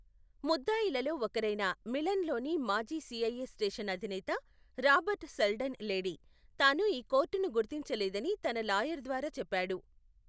ముద్దాయిలులో ఒకరైన మిలన్లోని మాజీ సిఐఏ స్టేషన్ అధినేత రాబర్ట్ సెల్డన్ లేడీ, తాను ఈ కోర్టును గుర్తించలేదని తన లాయర్ ద్వారా చెప్పాడు.